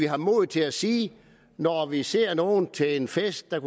har modet til at sige når vi ser nogle til en fest der